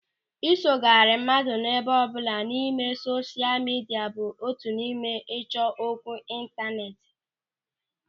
Ịsogharị mmadụ ebe ọbụla n'ime sosha midia bụ otu n'ime ịchọ okwu ịntanetị.